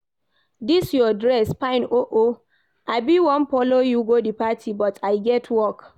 Dis your dress fine oo, I bin wan follow you go the party but I get work